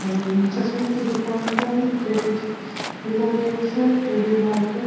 चश्मे की दुकान का है टुडे मार्केट --